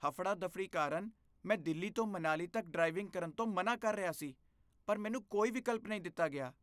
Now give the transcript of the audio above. ਹਫੜਾ ਦਫੜੀ ਕਾਰਨ ਮੈਂ ਦਿੱਲੀ ਤੋਂ ਮਨਾਲੀ ਤੱਕ ਡ੍ਰਾਈਵਿੰਗ ਕਰਨ ਤੋਂ ਮਨ੍ਹਾ ਕਰ ਰਿਹਾ ਸੀ, ਪਰ ਮੈਨੂੰ ਕੋਈ ਵਿਕਲਪ ਨਹੀਂ ਦਿੱਤਾ ਗਿਆ